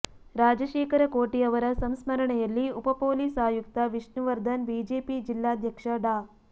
ರಾಜಶೇಖರ ಕೋಟಿ ಅವರ ಸಂಸ್ಮರಣೆಯಲ್ಲಿ ಉಪ ಪೊಲೀಸ್ ಆಯುಕ್ತ ವಿಷ್ಣುವರ್ಧನ್ ಬಿಜೆಪಿ ಜಿಲ್ಲಾಧ್ಯಕ್ಷ ಡಾ